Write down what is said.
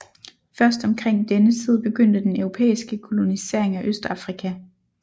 Først omkring denne tid begyndte den europæiske kolonisering af Østafrika